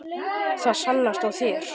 Það sannast á þér.